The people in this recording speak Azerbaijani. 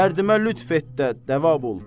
Dərdimə lütf et də dəva ol.